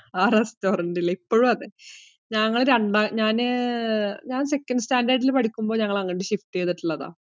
ആ restaurant ഇൽ. ഇപ്പോഴും അതെ. ഞങ്ങള് രണ്ടാം, ഞാന് second standard ഇൽ പഠിക്കുമ്പോ ഞങ്ങൾ അങ്ങോട്ടു shift ച്യ്തിട്ടുള്ള. ഇപ്പോഴും അതെ.